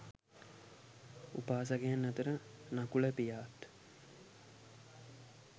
උපාසකයන් අතර නකුල පියාත්